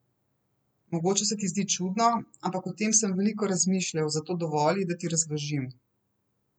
Mogoče se ti zdi čudno, ampak o tem sem veliko razmišljal, zato dovoli, da ti razložim.